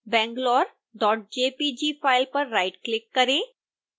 bangalorejpg file पर right click करें